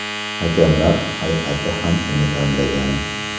Hakamlar hay’ati ham uni tanlagan.